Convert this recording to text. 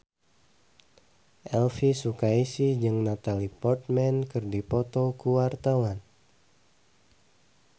Elvy Sukaesih jeung Natalie Portman keur dipoto ku wartawan